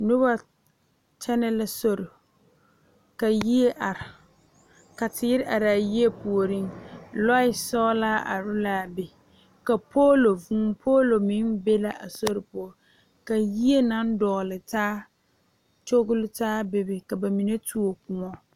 Nobɔ kyɛnɛ la sori ka yie are ka teere araa yie puoriŋ lɔɛ sɔglaa are laa be ka poolo vūū poolo meŋ be la a sori poɔ ka yie naŋ dɔgle taa kyogile taa bebe ka ba mine tuo kõɔ.